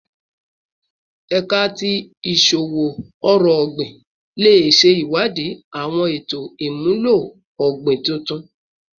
Ẹka ti Iṣowo-ọrọ ogbin le ṣe iwadii awọn eto imulo ogbin tuntun